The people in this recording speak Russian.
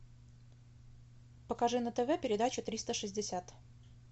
покажи на тв передачу триста шестьдесят